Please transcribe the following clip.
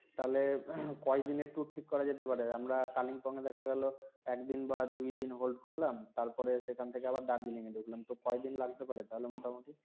তাইলে কয়দিনের tour ঠিক করা যেতে পারে আমরা Kalimpong এ দেখা গেলো একদিন বা দুইদিন Hold করলাম তারপরে সেখান থেকে আবার Darjeeling এ ঢুকলাম তো কয়দিন লাগতে পারে তাহলে মোটামুটি